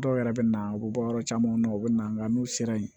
Dɔw yɛrɛ bɛ na u bɛ bɔ yɔrɔ camanw na u bɛ na nka n'u sera yen